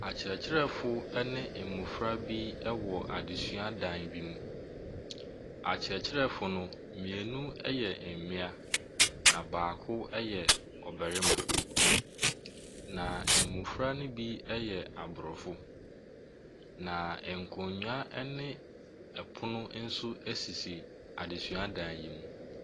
Akyerɛkyerɛfo ne mmofra bi wɔ adesuadan bi mu. Akyerɛkyerɛfo no, mmienu mmea, na baako yɛ ɔbarima. Na mmofra no bi yɛ Abrɔfo. Na nkonnwa ne ɛpono nso sisi adesuadan yi mu.